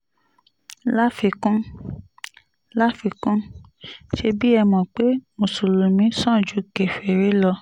láfikún láfikún ṣebí ẹ mọ̀ pé mùsùlùmí sàn ju kèfèrí lọ